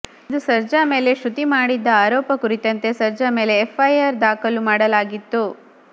ಇಂದು ಸರ್ಜಾ ಮೇಲೆ ಶೃತಿ ಮಾಡಿದ್ದ ಆರೋಪ ಕುರಿತಂತೆ ಸರ್ಜಾ ಮೇಲೆ ಎಫ್ ಐ ಆರ್ ದಾಖಲು ಮಾಡಲಾಗಿತ್ತು